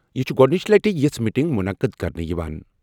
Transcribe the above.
یہِ چھُ گۄڈٕنِچہِ لَٹہِ یِژھ میٹنگ مُنعقد کرنہٕ یِوان۔